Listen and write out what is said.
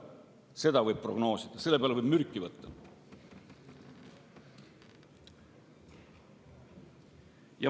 Seda võib prognoosida, selle peale võib mürki võtta.